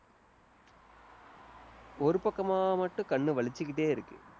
ஒரு பக்கமா மட்டும் கண்ணு வலிச்சுக்கிட்டே இருக்கு.